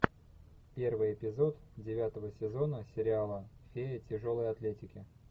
первый эпизод девятого сезона сериала фея тяжелой атлетики